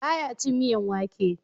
Ba ya cin miyan wake